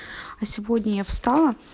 а сегодня я встала